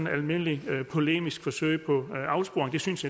et almindeligt polemisk forsøg på afsporing det synes